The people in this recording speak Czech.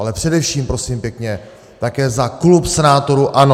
Ale především prosím pěkně také za klub senátorů ANO!